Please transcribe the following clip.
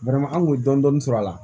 anw kun ye dɔɔnin sɔrɔ a la